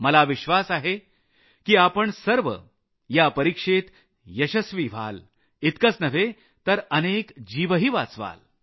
मला विश्वास आहे की आपण सर्व या परिक्षेत यशस्वी व्हाल इतकंच नव्हे तर अनेक जीवही वाचवाल